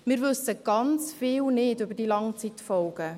Wir wissen sehr vieles nicht über die Langzeitfolgen.